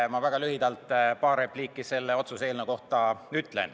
Ma ütlen väga lühidalt paar repliiki selle otsuse eelnõu kohta.